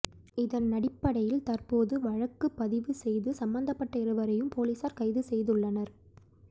இதனடிப்படையில் தற்போது வழக்கு பதிவு செய்து சம்மந்தப்பட்ட இருவரையும் பொலிஸார் கைது செய்துள்ளனர்